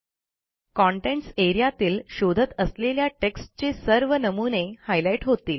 contents A R E A तील शोधत असलेल्या टेक्स्टचे सर्व नमुने Highlightहोतील